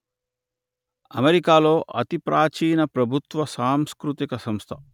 అమెరికాలో అతి ప్రాచీన ప్రభుత్వ సాంస్కృతిక సంస్థ